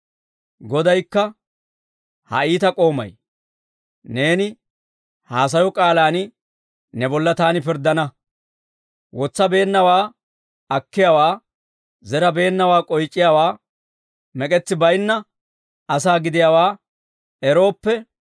«Godaykka, ‹Ha iita k'oomay; neeni haasayo k'aalaan ne bolla taani pirddana. Wotsabeennawaa akkiyaawaa, zerabeennawaa k'oyc'iyaa mek'etsi baynna asaa gidiyaawaa erooppe,